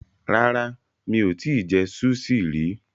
Rárá, mi ò tí ì jẹ súṣì rí.